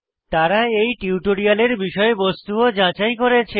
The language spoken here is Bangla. তারা এই টিউটোরিয়ালের বিষয়বস্তু ও যাচাই করেছে